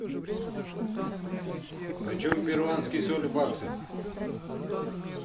почем перуанский соль в баксах